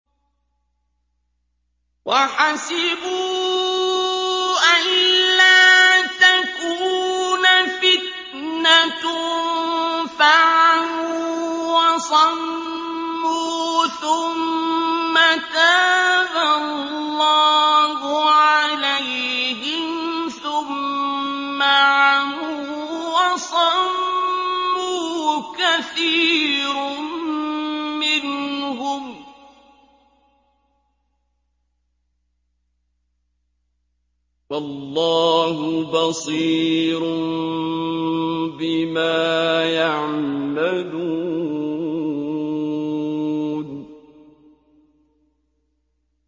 وَحَسِبُوا أَلَّا تَكُونَ فِتْنَةٌ فَعَمُوا وَصَمُّوا ثُمَّ تَابَ اللَّهُ عَلَيْهِمْ ثُمَّ عَمُوا وَصَمُّوا كَثِيرٌ مِّنْهُمْ ۚ وَاللَّهُ بَصِيرٌ بِمَا يَعْمَلُونَ